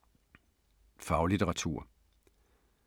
Faglitteratur